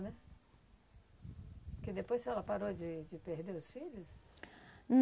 Né? Porque depois ela parou de de perder os filhos?